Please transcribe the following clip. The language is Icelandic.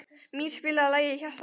Mír, spilaðu lagið „Í hjarta mér“.